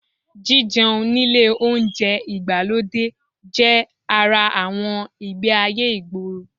Jíjẹun nílé oúnjẹ ìgbàlódé jẹ́ ara àwọn ìgbé-ayé ìgboro